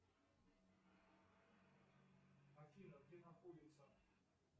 афина где находится